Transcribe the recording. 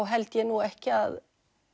held ég nú ekki að